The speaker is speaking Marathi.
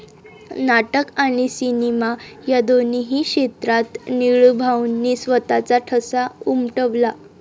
नाटक आणि सिनेमा या दोन्ही क्षेत्रात निळूभाऊंनी स्वतःचा ठसा उमटवला.